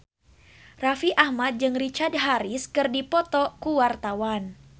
Raffi Ahmad jeung Richard Harris keur dipoto ku wartawan